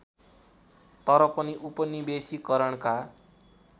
तर पनि उपनिवेशीकरणका